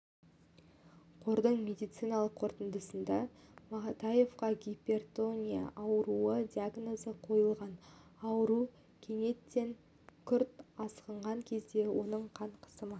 қордың медициналық қорытындысында матаевқа гипертония ауруы диагнозы қойылған ауру кенеттен күрт асқынған кезде оның қан қысымы